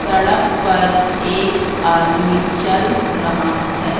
सड़क पर एक आदमी चल रहा है।